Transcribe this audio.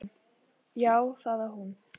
Já, það á hún.